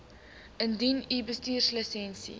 indien u bestuurslisensie